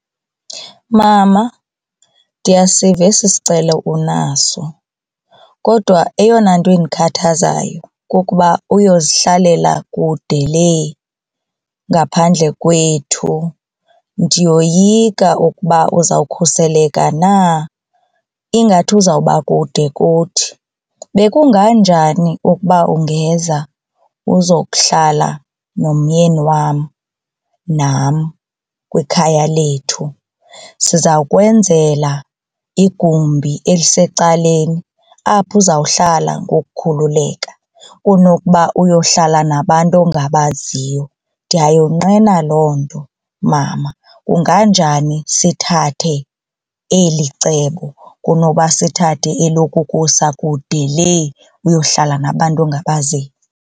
Mama ndiyasiva esi sicelo unaso kodwa eyona nto endikhathazayo kukuba uyozihlalela kude lee ngaphandle kwethu ndiyoyika ukuba uzawukhuseleka na ingathi uzawuba kude kuthi. Bekungabe njani ukuba ungeza uzokuhlala nomyeni wam nam kwikhaya lethu sizawukwenzela igumbi elisecaleni apho uzawuhlala ngokukhululeka kunokuba uyohlala nabantu ongabaziyo, ndiyayonqena loo nto mama. Kunganjani sithathe eli cebo kunoba sithathe elokukusa kude lee uyohlala nabantu ongabaziyo.